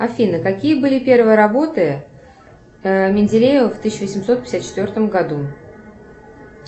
афина какие были первые работы менделеева в тысяча восемьсот пятьдесят четвертом году